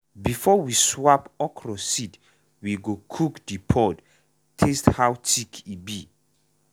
before we swap okra seed we go cook the pod taste how thick e be.